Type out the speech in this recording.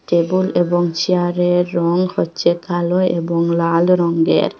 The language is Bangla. টেবুল এবং চেয়ারের রঙ হচ্ছে কালো এবং লাল রঙ্গের।